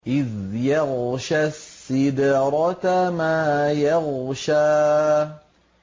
إِذْ يَغْشَى السِّدْرَةَ مَا يَغْشَىٰ